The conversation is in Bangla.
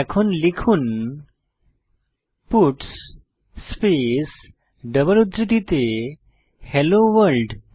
এখন লিখুন পাটস স্পেস ডাবল উদ্ধৃতিতে হেলো ভোর্ল্ড